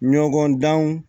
Ɲɔgɔn danw